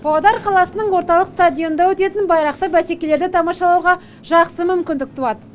павлодар қаласының орталық стадионында өтетін байрақты бәсекелерді тамашалауға жақсы мүмкіндік туады